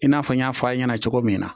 I n'a fɔ n y'a fɔ aw ɲɛna cogo min na